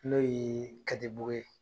N'o ye ka di buge ye.